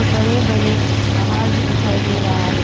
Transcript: बड़े बड़े पहाड़ भी दिखाई दे रहा है।